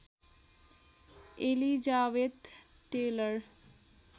Elizabeth Taylor